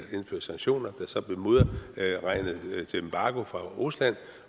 indført sanktioner der så blev modregnet af en embargo fra rusland